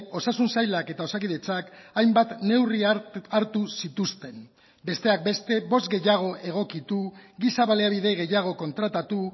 osasun sailak eta osakidetzak hainbat neurri hartu zituzten besteak beste bost gehiago egokitu giza baliabide gehiago kontratatu